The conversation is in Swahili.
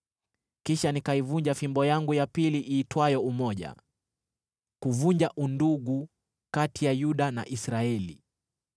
Kisha nikaivunja fimbo yangu ya pili iitwayo Umoja, kuvunja undugu kati ya Yuda na Israeli!